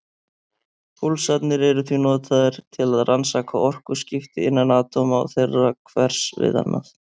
Púlsarnir eru því notaðir til að rannsaka orkuskipti innan atóma og þeirra hvers við annað.